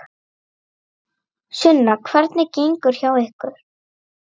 Sunna: Hvernig gengur hjá ykkur?